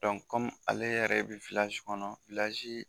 ale yɛrɛ bɛ kɔnɔ